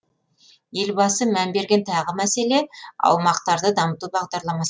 елбасы мән берген тағы мәселе аумақтарды дамыту бағдарламасы